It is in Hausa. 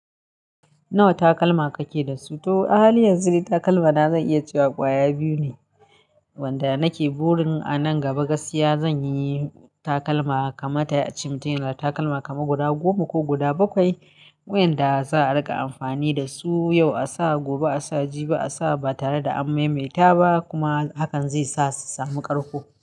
Nawa takalma kake da su? To a halin yanzu dai takalma na zan iya cewa kwaya biyu ne wanda nake burin a nan gaba gaskiya zanyi takalma kamata yayi a ce mutin yana da takalma kaman guda goma ko guda bakwai wa'inda za a rika amfani dasu yau a sa, gobe a sa, jibi a sa ba tare da an maimaita ba kuma hakan zai sa su samu ƙarƙo.